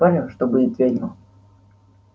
спорим что будет ведьма